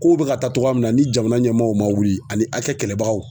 Kow bɛ ka taa cogoya min na ni jamana ɲɛmɔw ma wuli ani hakɛ kɛlɛbagaw.